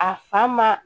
A fa ma